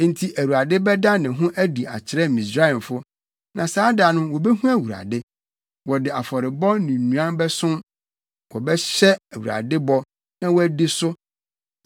Enti Awurade bɛda ne ho adi akyerɛ Misraimfo, na saa da no wobehu Awurade. Wɔde afɔrebɔ ne nnuan bɛsom, wɔbɛhyɛ Awurade bɔ, na wɔadi so.